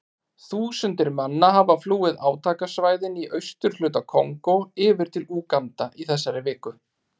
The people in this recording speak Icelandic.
Þúsundir manna hafa flúið átakasvæðin í austurhluta Kongó yfir til Úganda í þessari viku.